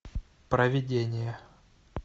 провидение